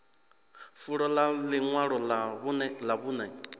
fulo ḽa ḽiṅwalo ḽa vhuṅe